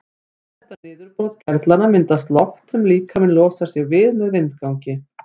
Við þetta niðurbrot gerlanna myndast loft sem líkaminn losar sig við með vindgangi.